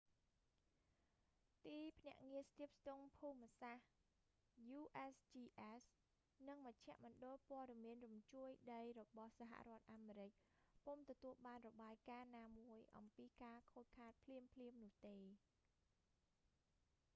ទីភ្នាក់ងារស្ទាបស្ទង់ភូមិសាស្ត្រ usgs និងមជ្ឈមណ្ឌលព័ត៌មានរញ្ជួយដីរបស់សហរដ្ឋអាមេរិក ពុំទទួលបានរបាយការណ៍ណាមួយអំពីការខូចខាតភ្លាមៗនោះទេ